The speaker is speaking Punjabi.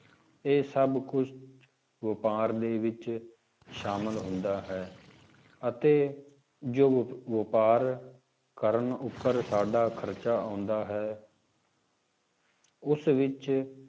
ਇਹ ਸਭ ਕੁਛ ਵਾਪਾਰ ਦੇ ਵਿੱਚ ਸ਼ਾਮਿਲ ਹੁੰਦਾ ਹੈ ਅਤੇ ਜੋ ਵਪ~ ਵਾਪਾਰ ਕਰਨ ਉੱਪਰ ਸਾਡਾ ਖ਼ਰਚਾ ਆਉਂਦਾ ਹੈ ਉਸ ਵਿੱਚ